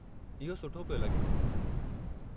इहो सुठो पियो लॻे।